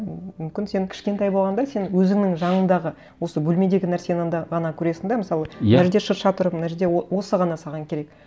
ммм мүмкін сен кішкентай болғанда сен өзіңнің жанындағы осы бөлмедегі нәрсені де ғана көресің де мысалы иә мына жерде шырша тұр мына жерде осы ғана саған керек